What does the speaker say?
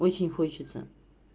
очень хочется